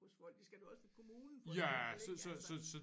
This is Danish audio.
Hos folk det skal du også ved kommunen for eksempel ik altså